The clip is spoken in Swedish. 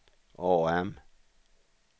AM